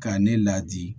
K'a ne ladi